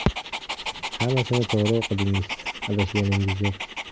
Hammasini to‘g‘ri o‘qidingiz, adashganingiz yo‘q!